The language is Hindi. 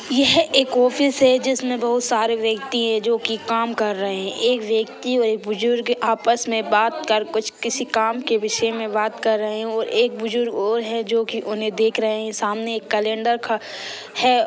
यह एक ऑफिस है जिसमें बहुत सारे व्यक्ति है जो की काम कर रहे है एक व्यक्ति और एक बुजुर्ग आपस में बात कर कुछ किसी काम के विषय में बात कर रहे है और एक बुजुर्ग और है जो कि उन्हें देख रहे है सामने एक कैंलडर खा है। (